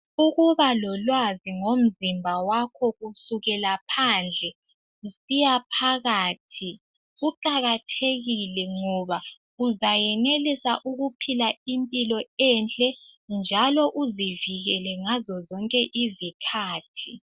Ukuba lolwazi ngomzimba wakho kusukela phandle kusiya phakathi kuqakathekile ngoba uzayenelisa ukuphila impilo enhle njalo uzivikele ngazo zonke izikhathi.